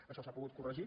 això s’ha pogut corregir